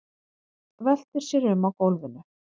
Veltir sér um á gólfinu.